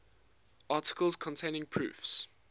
articles containing proofs